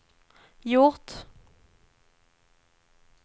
gjort